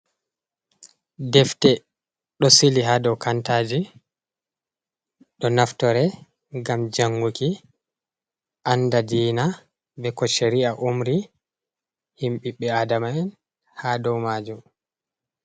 Defte ɗo sili haa dow kantaaji. Ɗo naftore ngam janguki anda diina, be ko sheri'a umri him ɓiɓɓe aadama'en haa dow maajum.